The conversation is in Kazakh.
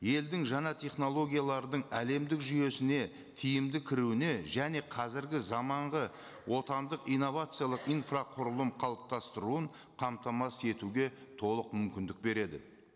елдің жаңа технологиялардың әлемдік жүйесіне тиімді кіруіне және қазіргі заманғы отандық инновациялық инфрақұрылым қалыптастыруын қамтамасыз етуге толық мүмкіндік береді